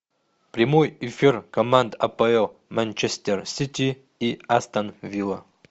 прямой эфир команд апл манчестер сити и астон вилла